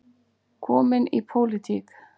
Kominn í pólitík.